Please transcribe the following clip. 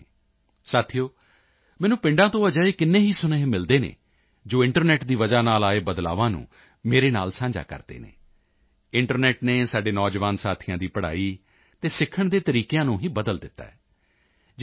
ਸਾਥੀਓ ਮੈਨੂੰ ਪਿੰਡਾਂ ਤੋਂ ਅਜਿਹੇ ਕਿੰਨੇ ਹੀ ਸੁਨੇਹੇ ਮਿਲਦੇ ਹਨ ਜੋ ਇੰਟਰਨੈੱਟ ਦੀ ਵਜ੍ਹਾ ਨਾਲ ਆਏ ਬਦਲਾਵਾਂ ਨੂੰ ਮੇਰੇ ਨਾਲ ਸਾਂਝਾ ਕਰਦੇ ਹਨ ਇੰਟਰਨੈੱਟ ਨੇ ਸਾਡੇ ਨੌਜਵਾਨ ਸਾਥੀਆਂ ਦੀ ਪੜ੍ਹਾਈ ਅਤੇ ਸਿੱਖਣ ਦੇ ਤਰੀਕਿਆਂ ਨੂੰ ਹੀ ਬਦਲ ਦਿੱਤਾ ਹੈ ਜਿਵੇਂ ਕਿ ਯੂ